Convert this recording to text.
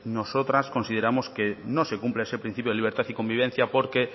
nosotras consideramos que no se cumple ese principio de libertad y convivencia porque